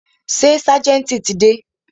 Ṣé ságẹ̀ntì ti dé?